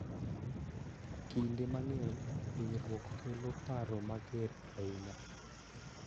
Kinde mang�eny, hinyruok kelo paro mager ahinya,